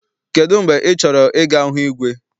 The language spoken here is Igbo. Kedụ mgbe ị chọrọ I ga hụ igwe?